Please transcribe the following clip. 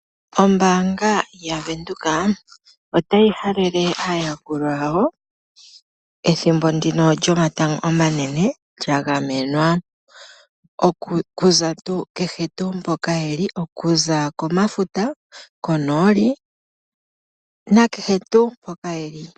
Ombanga yaVenduka ota yi halele aayakulwa yawo ethimbo ndino lyomatangomanene lya gamenwa okuza komafuta konooli nakehe tuu mpoka ye li.